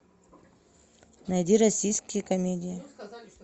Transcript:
найди российские комедии